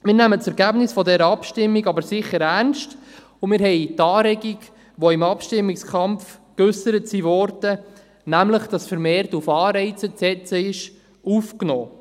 Wir nehmen das Ergebnis dieser Abstimmung aber sicher ernst und haben die Anregungen, die im Abstimmungskampf geäussert wurden, nämlich, dass vermehrt auf Anreize zu setzen ist, aufgenommen.